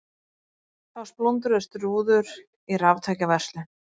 Þá splundruðust rúður í raftækjaverslun